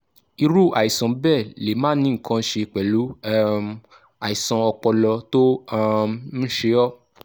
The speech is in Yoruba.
irú àìsàn bẹ́ẹ̀ lè máà ní nǹkan kan ṣe pẹ̀lú um àìsàn ọpọlọ tó um ń ṣe ọ́